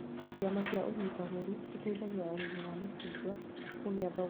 Ciama cia ũnyitanĩri citeithagia arĩmi a macungwa kũgĩa thogora mwega thoko-inĩ